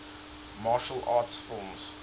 martial arts films